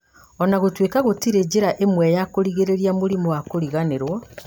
ona gũtuĩka gũtirĩ njĩra ĩmwe ya kũrigĩrĩria mũrimũ wa kũriganĩrwo